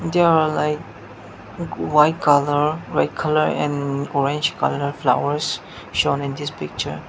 there are like white colour red colour and orange colour flowers shown in this picture.